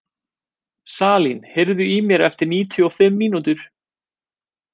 Salín, heyrðu í mér eftir níutíu og fimm mínútur.